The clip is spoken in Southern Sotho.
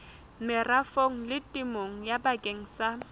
merafong le temong bakeng sa